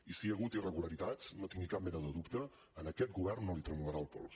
i si hi ha hagut irregularitats no tingui cap mena de dubte a aquest govern no li tremolarà el pols